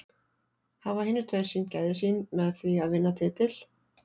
Hafa hinir tveir sýnt gæði sín með því að vinna titil?